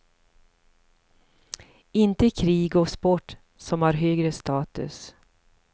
Inte krig och sport som har högre status.